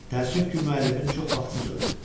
Təəssüf ki, müəllimin çox vaxtsız öldü.